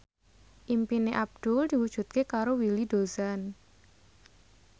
impine Abdul diwujudke karo Willy Dozan